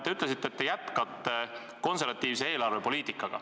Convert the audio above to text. Te ütlesite, et jätkate konservatiivset eelarvepoliitikat.